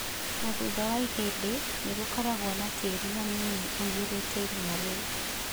Na thutha wa ihinda, nĩ gũkoragwo na tĩĩri hanini ũiyũrĩte irima rĩu.